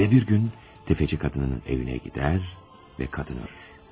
Ve bir gün tefeci kadının evine gider ve kadın ölür.